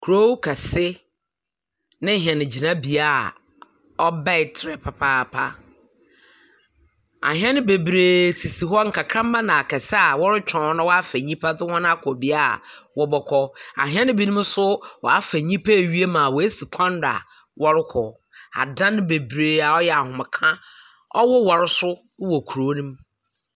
Kurow kɛse na hɛn gyinabea a ɔbaa tra yie papaapa. Ahɛn beberebe sisi hɔ, nkakramba na akɛse a wɔretweɔn na wɔafa nyimpa dze wɔn akɔ bea a wɔbɔkɔ. Ahɛn binom so wɔafa nyimpa ewie ma woesi kwan do a wɔrokɔ. Adan beberee a ɔyɛ ahomka na ɔwowar so wɔ kurow no mu.